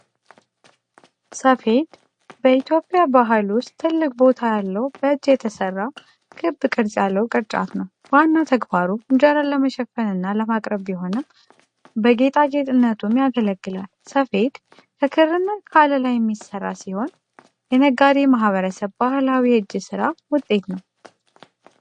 ሰፌድ በኢትዮጵያ ባህል ውስጥ ትልቅ ቦታ ያለው በእጅ የተሰራ፣ ክብ ቅርጽ ያለው ቅርጫት ነው። ዋና ተግባሩ እንጀራን ለመሸፈን እና ለማቅረብ ቢሆንም፣ በጌጣጌጥነቱም ያገለግላል። ሰፌድ ከክርና ከአለላ የሚሰራ ሲሆን፣ የነገዴ ማህበረሰብ ባህላዊ የእጅ ሥራ ውጤት ነው።